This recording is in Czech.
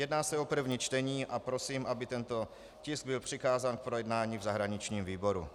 Jedná se o první čtení a prosím, aby tento tisk byl přikázán k projednání v zahraničním výboru.